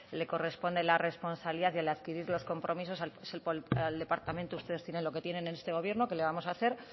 le corresponde la responsabilidad y el adquirir los compromisos es al departamento ustedes tienen lo que tienen en este gobierno qué le vamos a hacer